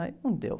Aí não deu.